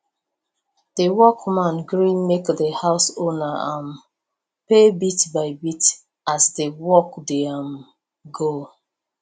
the workman gree make the house owner um pay bitbybit as the work dey um go